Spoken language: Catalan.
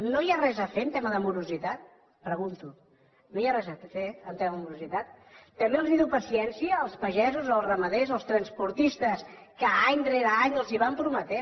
no hi ha res a fer en tema de morositat pregunto no hi ha res a fer en tema de morositat també els diu paciència als pagesos als ramaders als transportistes que any rere any els van prometent